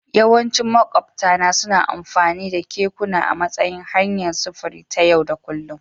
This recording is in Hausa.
Yawancin makwabtana suna amfani da kekuna a matsayin hanyar sufuri ta yau da kullun